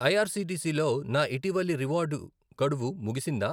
IRCTC లో నా ఇటీవలి రివార్డ్ గడువు ముగిసిందా??